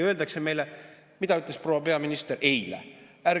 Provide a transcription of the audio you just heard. Ja mida ütles proua peaminister eile?